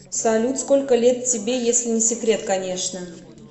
салют сколько лет тебе если не секрет конечно